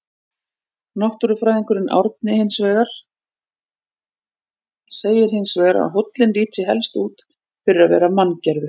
Náttúrufræðingurinn Árni segir hins vegar að hóllinn líti helst út fyrir að vera manngerður.